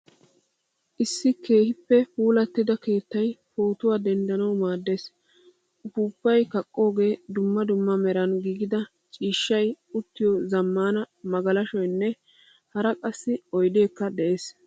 Issi keehippe puulattida keettay pootuwaa denddanawu maaddees. Uppupay kaqoge, dumma dumma meran giigida ciishshay uttiyo zamaana magalashshoynne hara qassi oydekka de'ees.